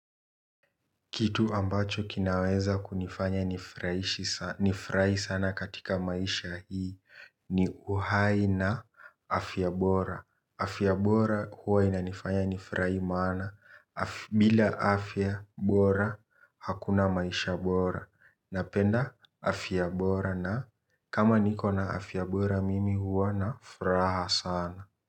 Kitu ambacho kinaweza kunifanya nifurahi sana katika maisha hii ni uhai na afya bora. Afya bora huwa inanifanya nifurahi maana. Bila afya bora hakuna maisha bora. Napenda afya bora na kama niko na afya bora mimi huwa na furaha sana.